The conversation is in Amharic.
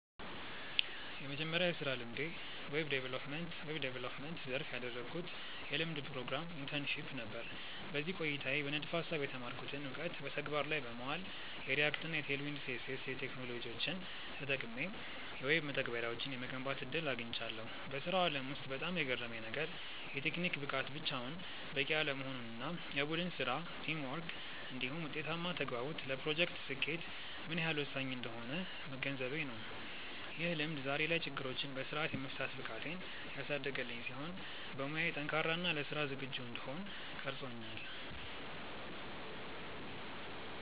የመጀመሪያው የሥራ ልምዴ በዌብ ዲቨሎፕመንት (Web Development) ዘርፍ ያደረግኩት የልምምድ ፕሮግራም (Internship) ነበር። በዚህ ቆይታዬ በንድፈ-ሐሳብ የተማርኩትን እውቀት በተግባር ላይ በማዋል፣ የReact እና Tailwind CSS ቴክኖሎጂዎችን ተጠቅሜ የዌብ መተግበሪያዎችን የመገንባት ዕድል አግኝቻለሁ። በሥራው ዓለም ውስጥ በጣም የገረመኝ ነገር፣ የቴክኒክ ብቃት ብቻውን በቂ አለመሆኑ እና የቡድን ሥራ (Teamwork) እንዲሁም ውጤታማ ተግባቦት ለፕሮጀክቶች ስኬት ምን ያህል ወሳኝ እንደሆኑ መገንዘቤ ነው። ይህ ልምድ ዛሬ ላይ ችግሮችን በሥርዓት የመፍታት ብቃቴን ያሳደገልኝ ሲሆን፣ በሙያዬ ጠንካራ እና ለሥራ ዝግጁ እንድሆን ቀርጾኛል።